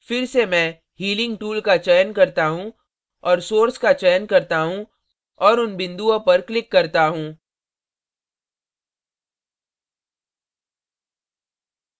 अतः फिर से मैं healing tool का चयन करता हूँ और source का चयन करता हूँ और उन बिन्दुओं पर clicked करता हूँ